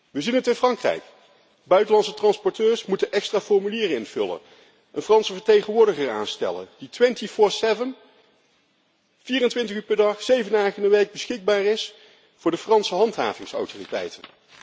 We zien het in Frankrijk buitenlandse transporteurs moeten extra formulieren invullen, een Franse vertegenwoordiger aanstellen die 24 uur per dag en 7 dagen per week beschikbaar is voor de Franse handhavingsautoriteiten.